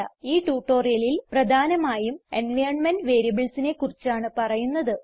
ഈ ട്യൂട്ടോറിയലിൽ പ്രധാനമായും എൻവൈറൻമെന്റ് variablesനെ കുറിച്ചാണ് പറയുന്നത്